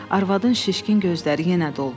Arvadın şişkin gözləri yenə doldu.